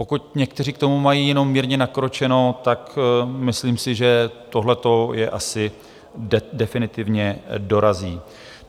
Pokud někteří k tomu mají jenom mírně nakročeno, tak myslím si, že tohleto je asi definitivně dorazí.